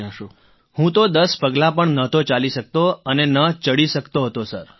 રાજેશ પ્રજાપતિઃ હું તો દસ પગલાં પણ નહોતો ચાલી શકતો અને ન ચડી શકતો હતો સર